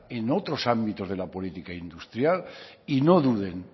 en otros ámbitos de la política industrial y